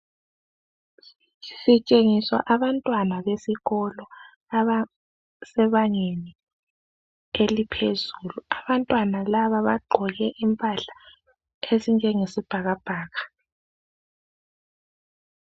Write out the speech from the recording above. Sitshengiswa abantwana besikolo abesebangeni eliphezulu. Abantwana laba bagqoke impahla ezinjenge sibhakabhaka.